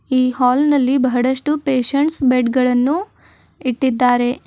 ಈ ಹಾಲ್ ನಲ್ಲಿ ಬಹಳಷ್ಟು ಪೇಶಂಟ್ಸ್ ಬೆಡ್ ಗಳನ್ನು ಇಟ್ಟಿದ್ದಾರೆ.